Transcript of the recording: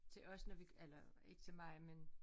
Til os når vi eller ikke til mig men